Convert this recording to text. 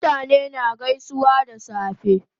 Mutane na gaisuwa da safe